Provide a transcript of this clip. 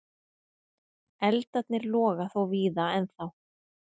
Eldarnir loga þó víða ennþá.